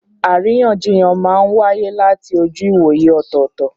Àríyànjiyàn máa ń wáyé láti ojú ìwòye ọ̀tọ̀ọ̀tọ̀.